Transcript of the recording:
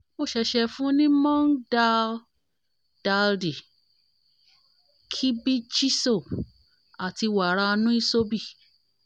mo ṣẹ̀ṣẹ̀ fún un ní moong dal daldi khibichiso àti wàrà nuisobi